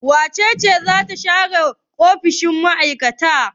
Wace ce za ta share ofishin shugaban mai'aikatan?